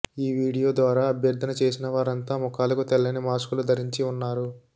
ఈ వీడియో ద్వారా అభ్యర్థన చేసిన వారంతా ముఖాలకు తెల్లని మాస్కులు ధరించి ఉన్నారు